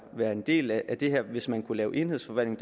være en del af det her hvis man kunne lave en enhedsforvaltning